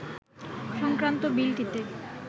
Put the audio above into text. সংক্রান্ত বিলটিতে